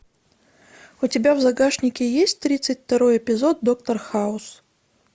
у тебя в загашнике есть тридцать второй эпизод доктор хаус